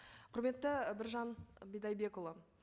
құрметті біржан бидайбекұлы